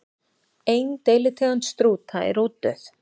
Ein deilitegund strúta er útdauð.